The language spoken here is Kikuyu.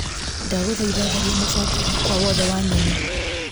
Ndagũthaitha tharia mũbango wakwa wothe wa nyeni .